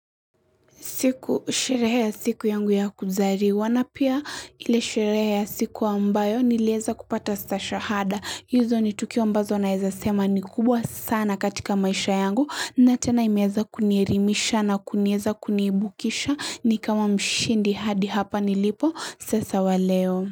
Sherehe ya siku yangu ya kuzaliwa na pia ile sherehe ya siku ambayo niliweza kupata shahada. Hizo ni tukio ambazo naweza sema ni kubwa sana katika maisha yangu na tena imeweza kunielimisha na kuniweza kuniibukisha ni kama mshindi hadi hapa nilipo sasa waleo.